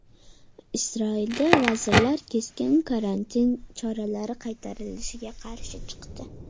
Isroilda vazirlar keskin karantin choralari qaytarilishiga qarshi chiqdi.